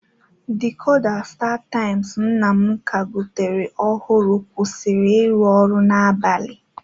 Dïkoda stataimz nna m ka gotere ọhụrụ kwụsịrị ịrụ ọrụ n'abalị.